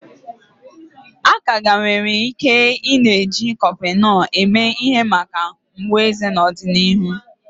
A ka nwere ike i-na eji kafinol eme ihe maka mgbu eze n'ọdịnihu.